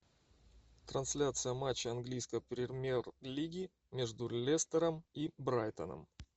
трансляция матча английской премьер лиги между лестером и брайтоном